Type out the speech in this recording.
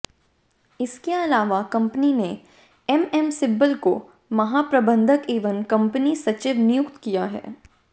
इसके अलावा कंपनी ने एमएम सिब्बल को महाप्रबंधक एवं कंपनी सचिव नियुक्त किया है